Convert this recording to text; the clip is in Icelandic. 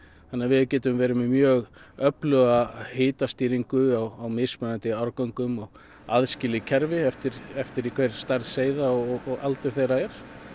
þannig við getum verið með mjög öfluga hitastýringu á mismunandi árgöngum og aðskilið kerfi eftir eftir því hver stærð seiða og aldur þeirra er